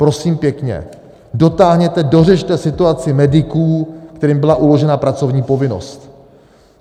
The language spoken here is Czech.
Prosím pěkně, dotáhněte, dořešte situaci mediků, kterým byla uložena pracovní povinnost.